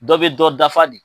Dɔ bɛ dɔ dafa de.